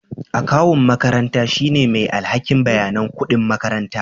Akawun makaranta shine mai alhakin bayanan kuɗin makaranta